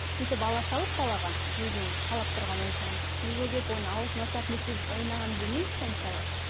сөйтіп ала салып балаға өзінің қалап тұрған ойыншығын үйге келіп оны аузын салып не істеп ойнағанын білмейміз ғой мысалы